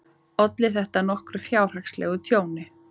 Olli þetta nokkru fjárhagslegu tjóni.